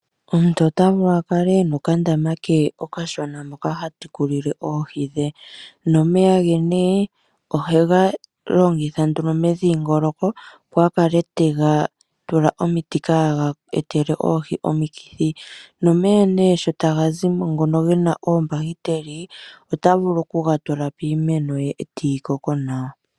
Omuntu ota vulu a kale e na okandama okashona moka ha tekulile oohi dhe nomeya ge nee ohega longitha nduno medhingoloko, opo a kale te ga tula omiti kaaga etele oohi omikithi. Nomeya nee sho taga zi mo ngono ge na oombahiteli ota vulu okuga tula piimeno ye e tayi koko nawa.